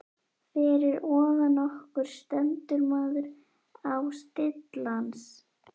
Fyrir ofan okkur stendur maður á stillans.